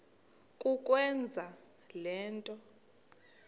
kukwenza le nto